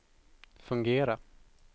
fungera